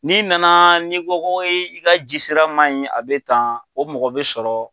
N'i nana ni ko ko i ka jisira man ɲi a bɛ tan o mɔgɔ bɛ sɔrɔ.